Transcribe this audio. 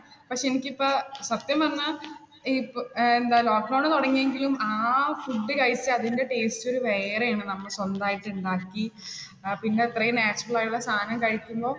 പക്ഷേ, എനിക്ക് ഇപ്പ സത്യം പറഞ്ഞാൽ ഏർ എന്താ lockdown ണ് തുടങ്ങിയെങ്കിലും ആ food കഴിച്ച് അതിന്റെ taste ഒരു വേറെ ആണ് നമ്മൾ സ്വന്തമായിട്ട് ഉണ്ടാക്കി. ആ പിന്നെ അത്രയും natural ആയിട്ടുള്ള സാധനം കഴിക്കുമ്പോൾ